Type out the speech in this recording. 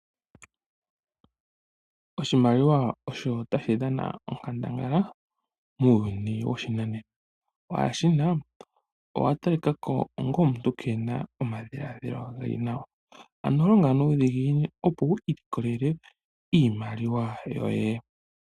Oshimaliwa osho tashi dhana onkandangala muuyuni woshinanena. Waa shina, owa talikako onga omuntu keena omadhiladjilo geli nawa. Ano longa nuudhiginini opo wu ilikolele iimaliwa yoye.